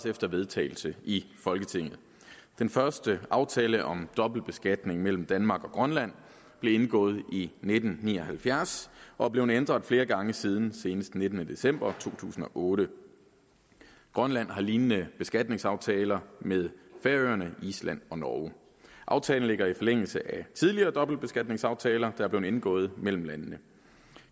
efter vedtagelse i folketinget den første aftale om dobbeltbeskatning mellem danmark og grønland blev indgået i nitten ni og halvfjerds og er blevet ændret flere gange siden senest den nittende december to tusind og otte grønland har lignende beskatningsaftaler med færøerne island og norge aftalen ligger i forlængelse af tidligere dobbeltbeskatningsaftaler der er blevet indgået mellem landene